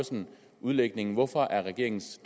udlægningen hvorfor er regeringens